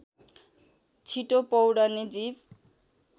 छिटो पौड्ने जीव